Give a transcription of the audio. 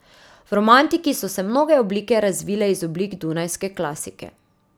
V romantiki so se mnoge oblike razvile iz oblik dunajske klasike.